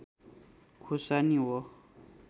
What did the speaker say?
खुर्सानी हो